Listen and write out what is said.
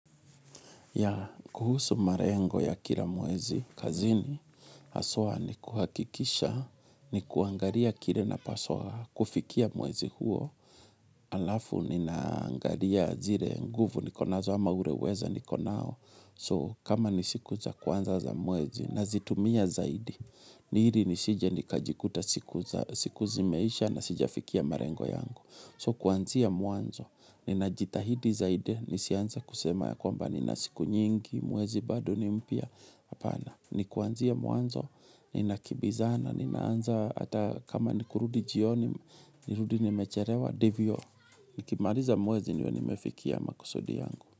Ya kuhusu malengo ya kila mwezi kazini haswa ni kuhakikisha ni kuangalia kile napaswa kufikia mwezi huo alafu ni naangalia zile nguvu nikonazo ama ule uwezo nikonao so kama ni siku za kwanza za mwezi nazitumia zaidi ni ili nisije nikajikuta siku za siku zimeisha na sijafikia malengo yangu. So kuanzia mwanzo, ninajitahidi zaide, nisianza kusema ya kwamba nina siku nyingi, mwezi bado ni mpya, apana. Ni kuanzia mwanzo, ninakimbizana, ninaanza hata kama nikurudi jioni, nirudi nimechelewa, ndivyo. Nikimaliza mwezi niwe nimefikia makusudi yangu.